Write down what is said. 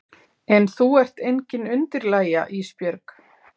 En þú ert engin undirlægja Ísbjörg.